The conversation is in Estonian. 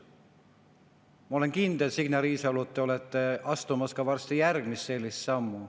Ma olen kindel, Signe Riisalo, et te olete astumas varsti järgmist sammu.